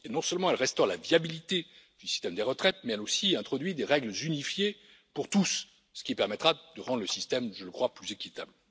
Non seulement, elle restaure la viabilité du système des retraites mais, elle introduit aussi des règles unifiées pour tous, ce qui permettra de rendre le système, je le crois, plus équitable.